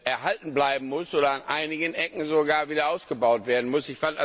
erhalten bleiben oder an einigen Ecken sogar wieder ausgebaut werden muss.